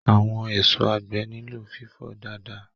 Àwọn èso àgbẹ̀ nilo fifọ dáadáa.